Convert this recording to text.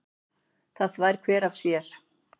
Það þvær hver af sér.